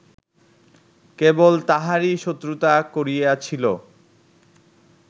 কেবল তাঁহারই শত্রুতা করিয়াছিল